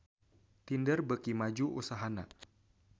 Tinder beuki maju usahana